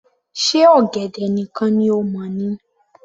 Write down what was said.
Ṣe ọ̀gẹ̀dẹ̀ nìkan ni o mọ̀ ni